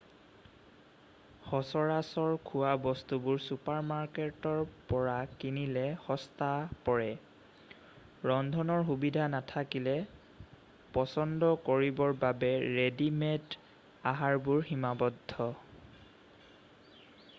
সচৰাচৰ খোৱা বস্তুবোৰ চুপাৰমাৰ্কেটৰ পৰা কিনিলে সস্তা পৰে ৰন্ধনৰ সুবিধা নাথাকিলে পচন্দ কৰিবৰ বাবে ৰেডি-মেড আহাৰবোৰ সীমাবদ্ধ